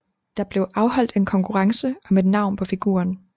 Der blev afholdt en konkurrence om et navn på figuren